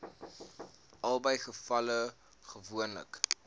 albei gevalle gewoonlik